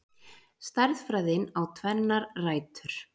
Stærðfræðin á tvennar rætur.